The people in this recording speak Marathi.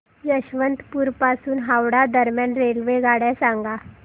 यशवंतपुर पासून हावडा दरम्यान रेल्वेगाड्या सांगा